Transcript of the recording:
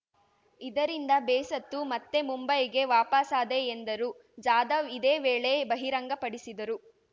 ಇದರಿಂದ ಬೇಸತ್ತು ಮತ್ತೆ ಮುಂಬೈಗೆ ವಾಪಸಾದೆ ಎಂದರು ಜಾಧವ್‌ ಇದೇ ವೇಳೆ ಬಹಿರಂಗಪಡಿಸಿದರು